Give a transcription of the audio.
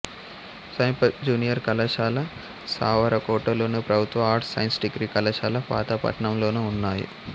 సమీప జూనియర్ కళాశాల సారవకోటలోను ప్రభుత్వ ఆర్ట్స్ సైన్స్ డిగ్రీ కళాశాల పాతపట్నంలోనూ ఉన్నాయి